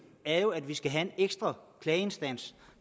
er jo at vi skal have en ekstra klageinstans